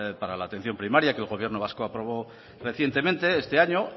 para la atención primaria que el gobierno vasco aprobó recientemente este año